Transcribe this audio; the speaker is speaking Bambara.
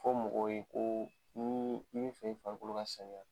Fɔ mɔgɔ ye ko ni i bɛ fɛ i farikolo ka sanuya